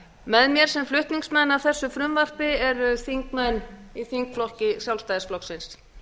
með mér sem flutningsmenn að þessu frumvarpi eru þingmenn í þingflokki sjálfstæðisflokksins